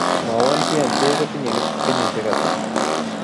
Mwawon bien too kotinye kenyisiek ata